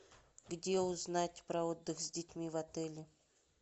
где узнать про отдых с детьми в отеле